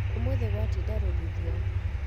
Ũmũthĩ gwainda rũthuthuo